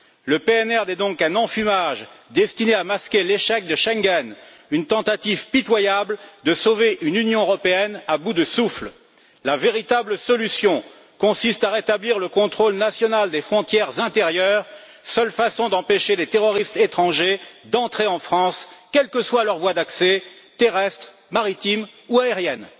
Le PNR n'est donc qu'un enfumage destiné à masquer l'échec de Schengen, une tentative pitoyable de sauver une Union européenne à bout de souffle. La véritable solution consiste à rétablir le contrôle national des frontières intérieures, seule façon d'empêcher les terroristes étrangers d'entrer en France, quelles que soient les voies d'accès qu'ils empruntent terrestres, maritimes ou aériennes.